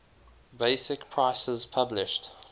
basic prices published